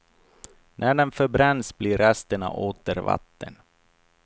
När den förbränns blir resterna åter vatten.